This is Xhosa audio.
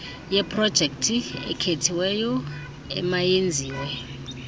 yeprojekthi ekhethiweyo emayenziwe